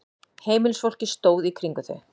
Heimilisfólkið stóð í kringum þau.